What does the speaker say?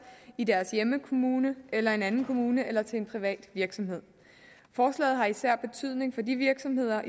i deres hjemmekommune eller en anden kommune eller til en privat virksomhed forslaget har især betydning for de virksomheder